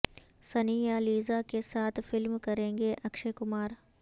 سنی یا لیزا کے ساتھ فلم کریںگے اکشے کمار